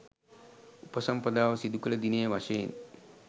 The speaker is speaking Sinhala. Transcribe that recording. උපසම්පදාව සිදු කළ දිනය වශයෙන්